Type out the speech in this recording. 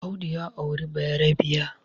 Audu ya auri bayerabiya